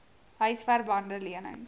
huisver bande lenings